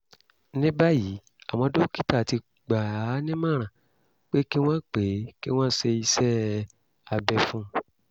ní báyìí àwọn dókítà ti gbà á nímọ̀ràn pé kí wọ́n pé kí wọ́n ṣe iṣẹ́-abẹ fún un